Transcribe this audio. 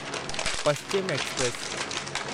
Paschim express